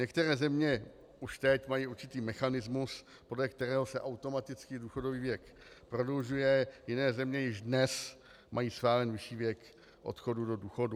Některé země už teď mají určitý mechanismus, podle kterého se automaticky důchodový věk prodlužuje, jiné země již dnes mají stále nižší věk odchodu do důchodu.